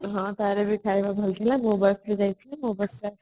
ହଁ ତାର ବି ଖାଇବା ବହୁତ ଭଲ ଥିଲା ମୋ ବସ ରେ ଯାଇଥିଲି ମୋ ବସ ରେ ଆସିଲେ